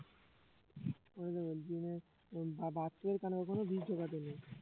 তাই জন্য বলছি যে বা~ বাচ্চাদের কানে কখনো বিষ ঢোকাতে নেই